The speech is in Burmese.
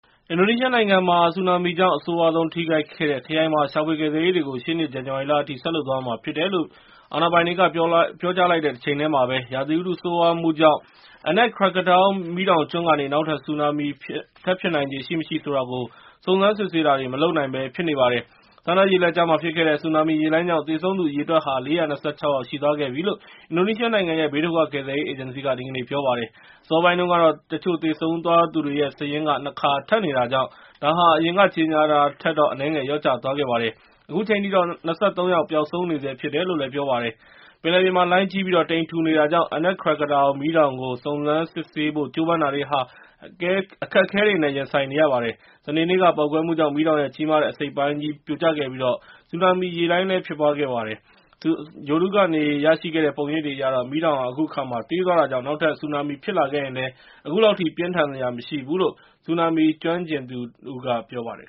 အင်ဒိုနီးရှားနိုင်ငံမှာ ဆူနာမီကြောင့် အဆိုးရွားဆုံးထိခိုက်သွားခဲ့တဲ့ခရိုင်မှာ ရှာဖွေကယ်ဆယ်ရေးတွေကို ရှေ့နှစ်ဇန်နဝါရီလအထိ ဆက်လုပ်သွားရမှာဖြစ်တယ်လို့ ပြောလိုက်တဲ့တချိန်တည်းမှာပဲ၊ ရာသီဥတုဆိုးရွားမှုကြောင့် Anak Krakatau မီးတောင်ကျွန်းကနေ နောက်ထပ်ဆူနာမီထပ်ဖြစ်နိုင်ချေ ရှိ၊ မရှိဆိုတာကို စုံစမ်းစစ်ဆေးတာတွေ မလုပ်နိုင်ဘဲဖြစ်နေပါတယ်။ ဆန်ဒါးရေလက်ကြားမှာဖြစ်ခဲ့တဲ့ ဆူနာမီရေလှိုင်းကြောင့် သေဆုံးသူအရေအတွက်ဟာ ၄၂၆ ယောက်ရှိသွားခဲ့ပြီလို့ အင်ဒိုနီးရှားနိုင်ငံရဲ့ ဘေးဒုက္ခကယ်ဆယ်ရေးအေဂျင်စီက ဒီကနေ့ ပြောပါတယ်။ အစောပိုင်းတုန်းကတော့ တချို့သေဆုံးသွားတဲ့သူတွေရဲ့ စာရင်းက ၂ ခါ ထပ်နေတာကြောင့် ဒါဟာ အရင်ကကြေငြာခဲ့တာထက်တော့ အနည်းငယ်လျော့သွားခဲ့ပါတယ်။ အခုချိန်ထိတော့ ၂၃ ယောက် ပျောက်ဆုံးနေဆဲဖြစ်တယ်လို့ ပြောပါတယ်။ ပင်လယ်ပြင်မှာ လှိုင်းကြီးပြီး ၊ တိမ်ထူနေတာကြောင့် Anak Krakatauk မီးတောင်ကို စုံစမ်းစစ်ဆေးတာတွေလုပ်ဖို့ကြိုးပမ်းတာတွေဟာ အခက်အခဲတွေနဲ့ ရင်ဆိုင်နေရပါတယ်။ စနေနေ့က ပေါက်ကွဲမှုကြောင့် မီးတောင်ရဲ့ ကြီးမားတဲ့အစိတ်အပိုင်းကြီး ပြိုကျခဲ့ပြီး၊ ဆူနာမီရေလှိုင်း ဖြစ်ပွားခဲ့ပါတယ်။ ဂြိုဟ်တုကနေရရှိတဲ့ ပုံရိပ်တွေအရတော့ ၊ မီးတောင်ဟာ အခုအခါမှာ သေးသွားတာကြောင့် နောက်ထပ်ဆူနာမီဖြစ်လာခဲ့ရင်လည်း အခုလောက်ထိတော့ ပြင်းထန်စရာမရှိတော့ဘူးလို့ ဆူနာမီကျွမ်းကျင်သူ Gegar Prasetya က ပြောပါတယ်